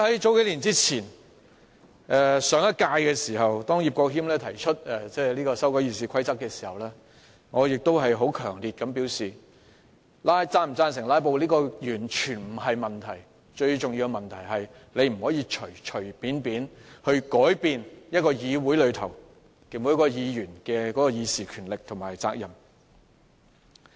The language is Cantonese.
在數年前的上一屆立法會期間，葉國謙提出修訂《議事規則》，我當時強烈表示，是否贊成"拉布"完全不是問題，最重要的是大家不能隨便改變議會內各位議員的議事權力和責任。